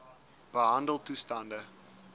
behandeltoestande